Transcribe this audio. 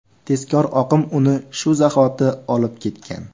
Tezkor oqim uni shu zahoti olib ketgan.